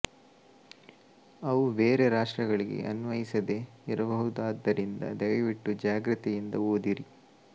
ಅವು ಬೇರೆ ರಾಷ್ಟ್ರಗಳಿಗೆ ಅನ್ವಯಿಸದೇ ಇರಬಹುದಾದ್ದರಿಂದ ದಯವಿಟ್ಟು ಜಾಗೃತಿಯಿಂದ ಓದಿರಿ